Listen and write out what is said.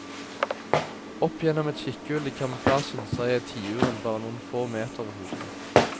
Opp gjennom et kikkehull i kamuflasjen ser jeg tiuren bare noen få meter over hodet mitt.